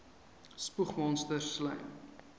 spoeg monsters slym